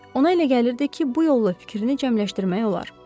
Ona elə gəlirdi ki, bu yolla fikrini cəmləşdirmək olar.